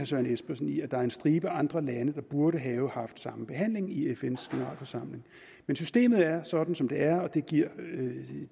søren espersen i at der er en stribe andre lande der burde have samme behandling i fns generalforsamling men systemet er sådan som det er og det giver